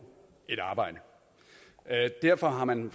et arbejde derfor har man